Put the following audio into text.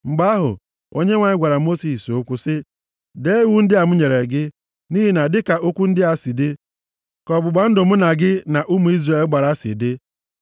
Mgbe ahụ, Onyenwe anyị gwara Mosis okwu sị, “Dee iwu ndị a m nyere gị, nʼihi na dịka okwu ndị a si dị, ka ọgbụgba ndụ mụ na gị na ụmụ Izrel gbara si dị.”